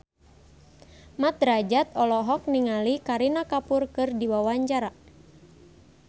Mat Drajat olohok ningali Kareena Kapoor keur diwawancara